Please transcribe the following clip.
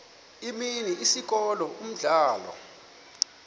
imini isikolo umdlalo